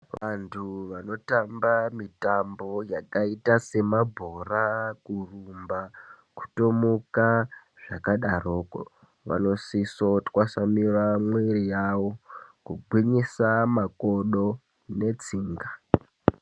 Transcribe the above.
Vantu vanotamba mitambo yakaita semabhora, kurumba, kutomuka zvakadaroko, vanosiso twasamura mwiiri yawo kugwinyisa makodo netsinga.